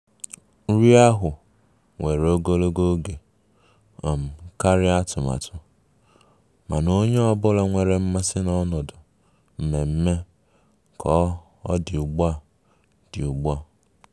Nri ahụ were ogologo oge um karịa atụmatụ, mana onye ọ bụla nwere mmasị na ọnọdụ mmemme ka ọ dị ugbu dị ugbu a